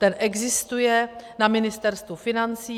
Ten existuje na Ministerstvu financí.